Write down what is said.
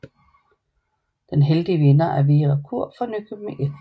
Den heldige vinder er Vera Kuhr fra Nykøbing F